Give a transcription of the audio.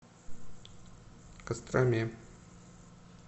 костроме